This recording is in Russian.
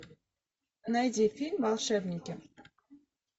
найди фильм волшебники